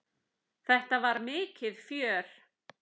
Þetta var mikið fjör.